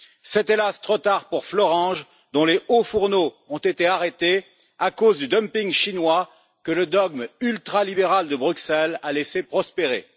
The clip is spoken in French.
C'est, hélas, trop tard pour Florange, dont les hauts fourneaux ont été arrêtés à cause du dumping chinois que le dogme ultralibéral de Bruxelles a laissé prospérer.